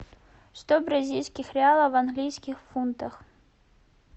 сто бразильских реалов в английских фунтах